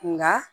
Nka